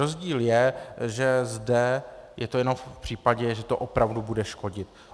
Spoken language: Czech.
Rozdíl je, že zde je to jenom v případě, že to opravdu bude škodit.